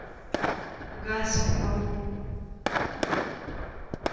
газпром